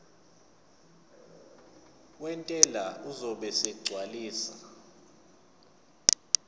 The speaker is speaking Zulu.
wentela uzobe esegcwalisa